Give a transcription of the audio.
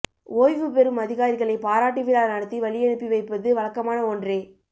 ஓய்வு பெறும் அதிகாரிகளை பாராட்டு விழா நடத்தி வழியனுப்பி வைப்பது வழக்கமான ஒன்றே